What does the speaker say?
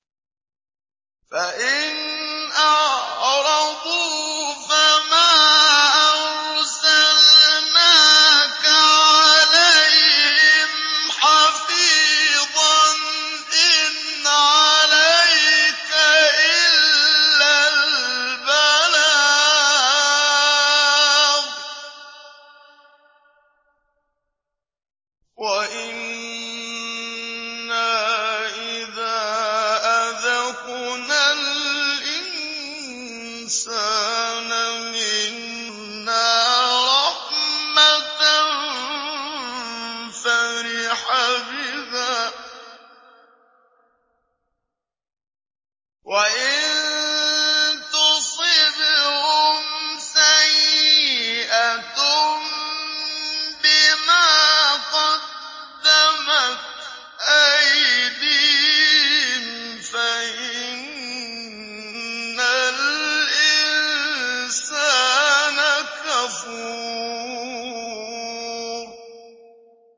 فَإِنْ أَعْرَضُوا فَمَا أَرْسَلْنَاكَ عَلَيْهِمْ حَفِيظًا ۖ إِنْ عَلَيْكَ إِلَّا الْبَلَاغُ ۗ وَإِنَّا إِذَا أَذَقْنَا الْإِنسَانَ مِنَّا رَحْمَةً فَرِحَ بِهَا ۖ وَإِن تُصِبْهُمْ سَيِّئَةٌ بِمَا قَدَّمَتْ أَيْدِيهِمْ فَإِنَّ الْإِنسَانَ كَفُورٌ